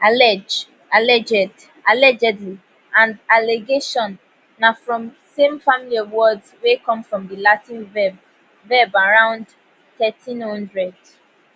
allege alleged allegedly and allegation na from same family of words wey come from di latin verb verb around 1300